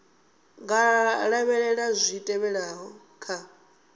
nga lavhelela zwi tevhelaho kha